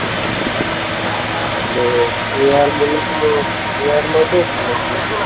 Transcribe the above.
એટલે A R બોલે તો એ આરમાં શું